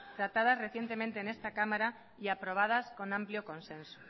tratadas recientemente en esta cámara y aprobadas con amplio consenso